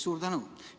Suur tänu!